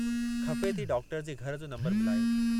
ख़फ़े थी डॉक्टर जे घर जो नंबरु मिलायो।